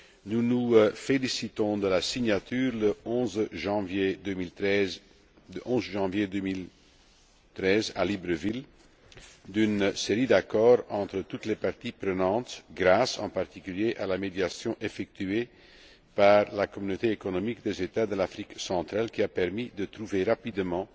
Nous nous félicitons de la signature, le 11 janvier 2013, à Libreville, d'une série d'accords entre toutes les parties prenantes, grâce, en particulier, à la médiation effectuée par la Communauté économique des États de l'Afrique centrale, qui a permis de trouver rapidement